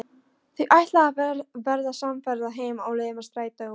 Þau ætla að verða samferða heim á leið með strætó.